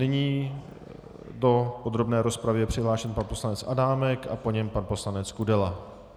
Nyní do podrobné rozpravy je přihlášen pan poslanec Adámek a po něm pan poslanec Kudela.